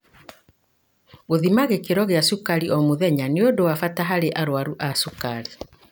Gũthima gĩkĩro gia cukari o mũthenya nĩ ũndu wa bata harĩ arwaru a cukari.